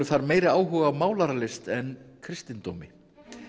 þar meiri áhuga á málaralist en kristindómi